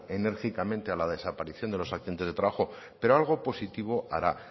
enérgicamente a la desaparición de los accidentes de trabajo pero algo positivo hará